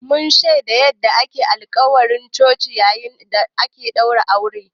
Mun shaidi yanda ake musayar alƙawura a coci yayin da ake ɗaura aure